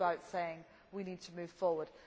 It is about saying that we need to move forward.